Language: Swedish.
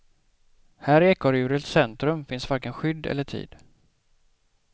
Här i ekorrhjulets centrum finns varken skydd eller tid.